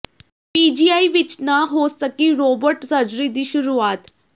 PGI ਵਿੱਚ ਨਾ ਹੋ ਸਕੀ ਰੋਬੋਟ ਸਰਜਰੀ ਦੀ ਸ਼ੁਰੂਆਤ